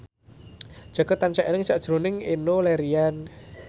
Jaka tansah eling sakjroning Enno Lerian